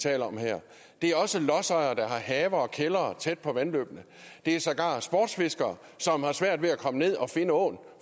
taler om her det er også lodsejere der har haver og kældre tæt på vandløbene det er sågar sportsfiskere som har svært ved at komme ned og finde åen